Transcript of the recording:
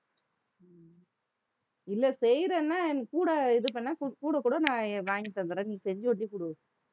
இல்லை செய்யறேன்னா என் கூட இது பண்ணா கூட, கூட நான் வாங்கித்தந்தர்றேன் நீ செஞ்சு ஒண்டி கொடு